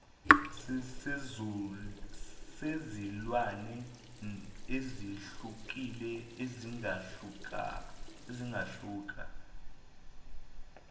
sezilwane ezehlukile zingahluka